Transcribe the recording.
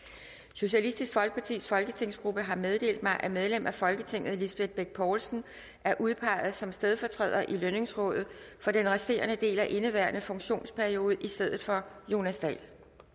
socialistisk folkepartis folketingsgruppe har meddelt mig at medlem af folketinget lisbeth bech poulsen er udpeget som stedfortræder i lønningsrådet for den resterende del af indeværende funktionsperiode i stedet for jonas dahl